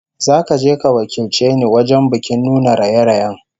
Zaka je ka wakilce ni wajen bikin nuna raye-rayen